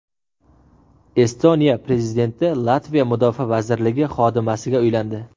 Estoniya prezidenti Latviya mudofaa vazirligi xodimasiga uylandi.